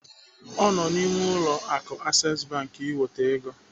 Ọ nọ n'ime ụlọ akụ Access iweta ego.